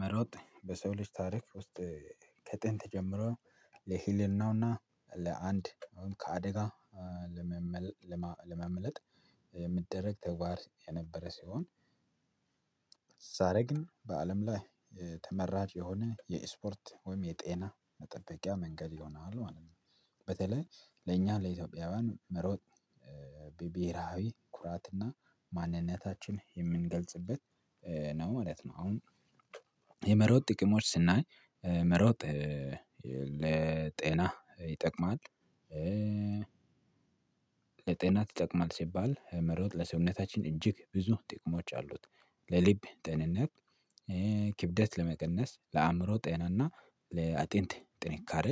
መሮጥ በሰው ልጅ ታሪክ ውስጥ ከጥንት ጀምሮ ለህልናውና ለአንድ አሁን ከአደጋ ለማምለጥ የሚደረግ ተግባት የነበረ ሲሆን። ዛሬ ግን በአለም ላይ ተመራጭ የሆነ የኤስፖርት ወይም የጤና መጠበቂያ መንገድ ይሆኗሉ ማለት ነው። በተለይ ለእኛ ለኢትዮጵያውያን መሮጥ ብሄራዊ ኩራትና ማንነታችን የምንገልጽበት ነው ማለት ነው። አሁን ጥቅሞች ስናይ መሮጥ ለጤና ይጠቅማል። ለጤና ትጠቅማለች ሲባል መሮጥ ለሰውነታችን እጅግ ብዙ ጥቅሞች አሉት። ለልብ ጤንነት ክብደት ለመቀነስ ለአእምሮ ጤናና ለአጥንቴ ጥንካሬ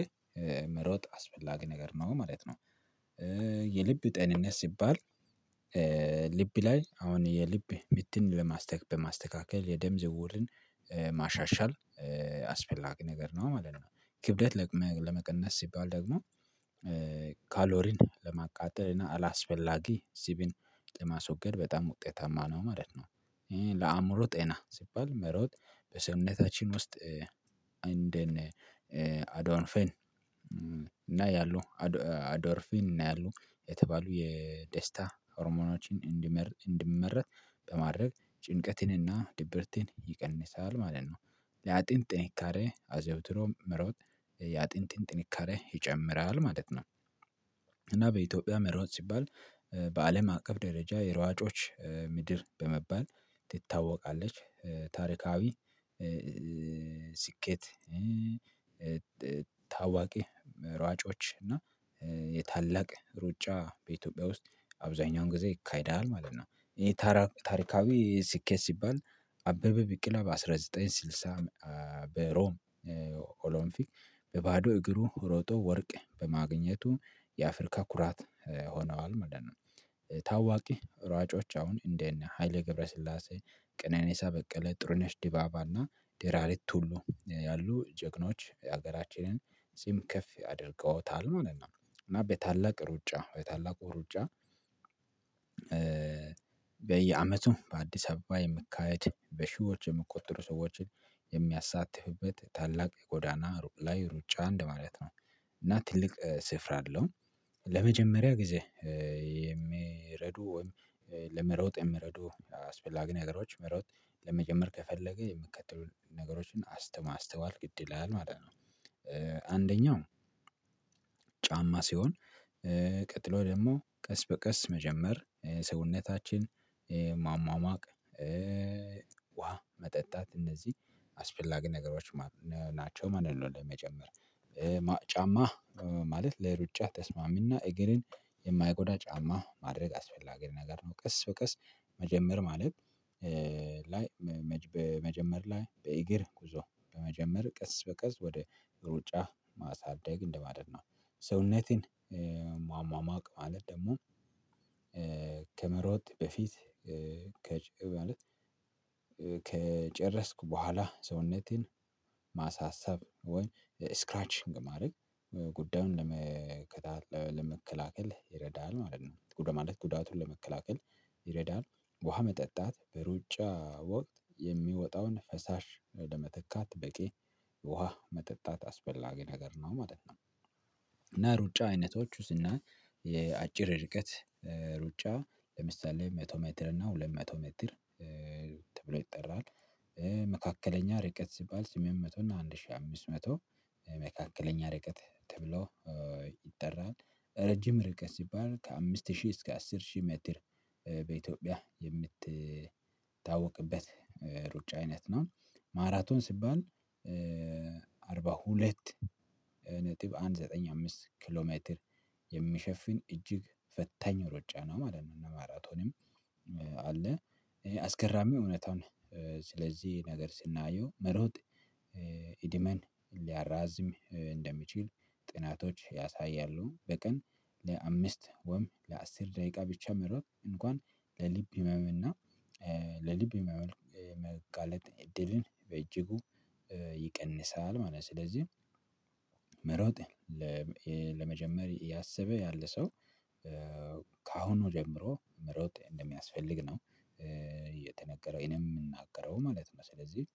መሮጥ አስፈላጊ ነገር ነው ማለት ነው። የልብ ጤንነት ሲባል ልብ ላይ አሁን የልብ ምትን ለማስተካከል የደም ዝውውርን ማሻሻል አስፈላጊ ነገር ነው ማለት ነው። ክብደት ለመቀነስ ሲባል ደግሞ ለማቃጠል እና አላስፈላጊ ሲቢን ጤማ ስወገድ በጣም ውጤታማ ነው ማለት ነው። ይሄ ለአእምሮ ጤና ሲባል መሮጥ በሰውነታችን ውስጥ እንደነ አዶን እና ያሉ አዶርፊን እና ያሉ የተባሉ የደስታ ሆርሞኖችን እንድመረት በማድረግ ጭንቀትንና ድብርቴን ይቀንሳል ማለት ነው። ያጥንት ጥንካሬ አዘውትሮ ምሮጥ ያጥንት ጥንካሬ ይጨምራል ማለት ነው። በኢትዮጵያ መርወጥ ሲባል በአለም አቀፍ ደረጃ የሯጮች ምድር በመባል ትታወቃለች። ታሪካዊ ስኬት። ሯጮች እና የታላቅ ሩጫ በኢትዮጵያ ውስጥ አብዛኛውን ጊዜ ይካሄዳል ማለት ነው። ይሄ ታሪካዊ ስኬት ሲባል አበበ ብቄላ አስራ ዘጠኝ ስልሳ በሮም ኦሎምፒክ በባዶ እግሩ ሮጦ ወርቅ በማግኘቱ የአፍሪካ ኩራት ሆነዋል ማለት ነው። ታዋቂ ሯጮች አሁን እንዴት ነው? ሀይለ ገብረስላሴ ቀነኔሳ በቀለ ጥሩነሽ ዲባባና ዴራሪ ቱሉ ያሉ ጀግኖች ሀገራችንን ስም ከፍ ያደርገውታል ምናምን። እና በታላቅ ሩጫ በታላቁ ሩጫ በየአመቱም በአዲስ አበባ የምካሄድ በሺዎች የምቆጥሩ ሰዎችን የሚያሳትፍበት ታላቅ የጎዳና ሩቅ ላይ ሩጫ እንደ ማለት ነው። እና ትልቅ ስፍራ አለው። ለመጀመሪያ ጊዜ የሚረዱ ወይም ለመረውጥ የምረዱ አስፈላጊ ነገሮች መሮጥ ለመጨመር ከፈለገ የሚከተሉትን ነገሮችን ማስተዋል ግድ ይላል ማለት ነው። አንደኛው ጫማ ሲሆን ቀጥሎ ደግሞ ቀስ በቀስ መጀመር ሰውነታችን ማማማቅ ውሃ መጠጣት እነዚህ አስፈላጊ ነገሮች ናቸው። ማንንም ለመጨመር ጫማ ማለት ለሩጫ ተስማሚና እግርን የማይጎዳ ጫማ ማድረግ አስፈላጊ ነገር ነው። ቀስ በቀስ መጀመር ማለት በመጀመር ላይ በእግር ጉዞ በመጀመር ቀስ በቀስ ወደ ሩጫ ማሳደግ እንደማለት ነው። ሰውነቴን ማሟቅ ማለት ደግሞ ከመሮጥ በፊት ከጨረስኩ በኋላ ሰውነቴን ማሳሰብ ወይ ስክራችንግ ማድረግ ጉዳዩን ለመከታተል ይረዳል ማለት ነው። ጉዳቱን ለመከላከል ይረዳል። ውሃ መጠጣት በሩጫ ወቅት የሚወጣውን ፈሳሽ ለመተካት በቂ ውሃ መጠጣት አስፈላጊ ነገር ነው ማለት ነው። እና ሩጫ አይነቶች ውስጥ እና የአጭር ርቀት ሩጫ ለምሳሌ መቶ ሜትር እና ሁለት መቶ ሜትር ተብሎ ይጠራል። መካከለኛ ርቀት ሲባል ስምንት መቶ እና አንድ ሺህ አምስት መቶ መካከለኛ ርቀት ተብሎ ይጠራል። ረጅም ርቀት ሲባል ከአምስት ሺህ እስከ አስር ሺህ ምድር በኢትዮጵያ የምትታወቅበት ሩጫ አይነት ነው። ማራቶን ሲባል አርባ ሁለት አንድ ዘጠኝ አምስት ኪሎ ሜትር የሚሸፍን እጅግ ፈታኝ ሮጫ ነው ማለት ነው። እና ማራቶንም አለ አስገራሚ እውነታውን ስለዚህ ነገር ስናየው መሮጥ እድሜን ሊያራዝም እንደሚችል ጥናቶች ያሳያሉ። በቀን ለአምስት ወም ለአስር ደቂቃ ብቻ መርሆት እንኳን ለሊብ ህመምና ለልብ ህመም የመጋለጥ እድልን በእጅጉ ይቀንሳል ማለት ነው። ስለዚህ ለመጀመሪያ ያሰበ ያለ ሰው ከአሁኑ ጀምሮ መሮጥ እንደሚያስፈልግ ነው እየተነገረው የምናገረው ማለት ነው ስለዚህ።